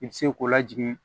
I bi se k'o lajigin